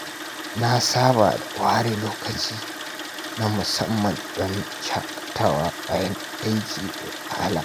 Na saba da ware lokaci na musamman don shaƙatawa bayan aiki mai wahala.